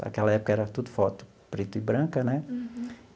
Naquela época, era tudo foto preta e branca né.